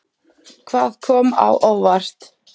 Hvað kom á óvart?